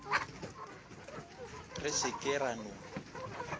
re se ke ra no